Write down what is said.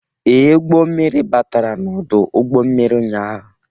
Ee, ụgbọ mmirir batara n'ọdụ ụgbọ mmiri ụnyaahụ.